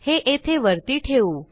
हे येथे वरती ठेवू